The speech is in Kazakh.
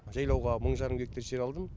жайлауға мың жарым гектар жер алдым